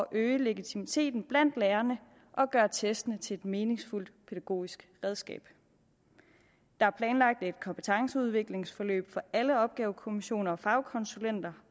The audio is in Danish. øge legitimiteten blandt lærerne og gøre testene til et meningsfuldt pædagogisk redskab der er planlagt et kompetenceudviklingsforløb for alle opgavekommissioner og fagkonsulenter